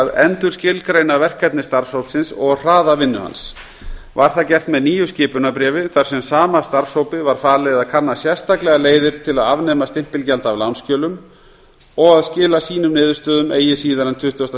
að endurskilgreina verkefni starfshópsins og hraða vinnu hans var það gert með nýju skipunarbréfi þar sem sama starfshópi var falið að kanna sérstaklega leiðir til að afnema stimpilgjald af lánsskjölum og að skila sínum niðurstöðum eigi síðar en tuttugasta